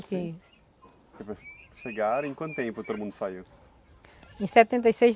Chegarem, em quanto tempo todo mundo saiu? Em setenta e seis